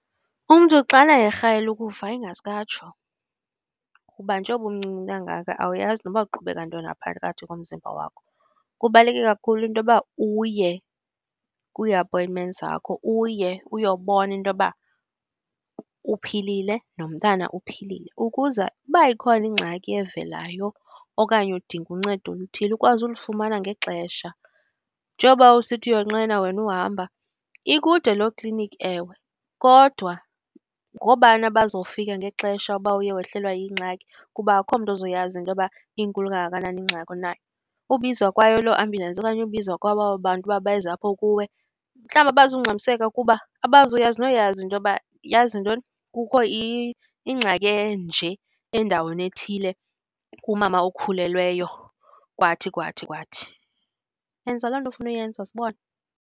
Umntu xana erhalela ukufa ingaske atsho, kuba njengoba umncinci kangaka awuyazi noba kuqhubeka ntoni ngaphakathi komzimba wakho. Kubaluleke kakhulu intoba uye kwii-appointment zakho, uye uyobona intoba uphilile nomntana uphilile ukuze uba ikhona ingxaki evelayo okanye udinga uncedo oluthile ukwazi ulifumana ngexesha. Njengoba usithi uyonqena wena uhamba, ikude loo kliniki ewe, kodwa ngoobani abazofika ngexesha uba uye wehlelwa yingxaki? Kuba akho mntu ozoyazi intoba inkulu kangakanani ingxaki onayo. Ubizwa kwayo loo ambulance okanye ubizwa kwabo aba bantu uba beze apho kuwe, mhlawumbi abazungxamiseka kuba abazuyazi noyazi intoba yazi ntoni kukho ingxaki enje endaweni ethile kumama okhulelweyo kwathi kwathi kwathi. Yenza loo nto ofuna uyenza sibone.